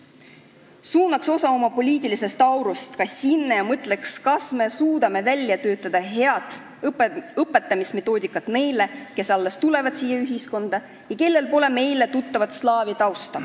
Võiks suunata osa oma poliitilisest aurust ka sinna ja mõelda, kas me suudame välja töötada head õpetamismetoodikad neile, kes alles tulevad siia ühiskonda ja kellel pole meile tuttavat slaavi tausta.